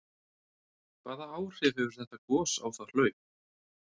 Hvaða áhrif hefur þetta gos á það hlaup?